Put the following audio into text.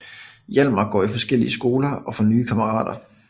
Hjalmar går i forskellige skoler og får nye kammerater